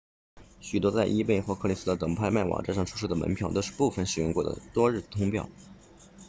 许多在 ebay 或 craigslist 等拍卖网站上出售的门票都是部分使用过的多日通票